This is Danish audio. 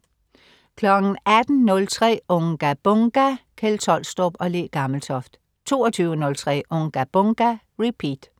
18.03 Unga Bunga! Kjeld Tolstrup og Le Gammeltoft 22.03 Unga Bunga! Repeat